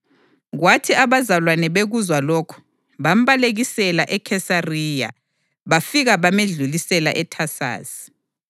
Kwathi abazalwane bekuzwa lokhu, bambalekisela eKhesariya bafika bamedlulisela eThasasi.